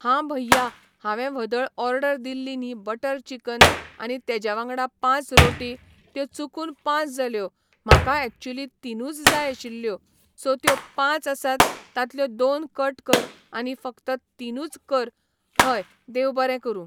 हां भैया हांवें व्हदळ ऑर्डर दिल्ली न्ही बटर चिकन आनी तेज्या वांगडा पांच रोटी त्यो चुकून पांच जाल्यो म्हाका एक्चुली तिनूच जाय आशिल्ल्यो सो त्यो पांच आसात तांतल्यो दोन कट कर आनी फकत तिनूच कर हय देव बरें करूं.